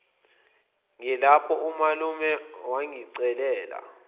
ngilapho umalume wangicelela